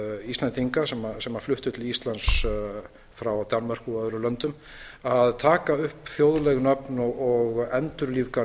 nýfluttra íslendinga sem fluttu til íslands frá danmörku og öðrum löndum að taka upp þjóðleg nöfn og endurlífga